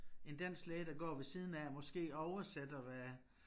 En dansk læge der går ved siden af måske oversætter hvad